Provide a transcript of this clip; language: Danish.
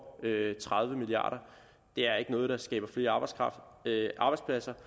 tredive milliard det er ikke noget der skaber flere arbejdspladser